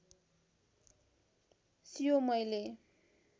सियो मैले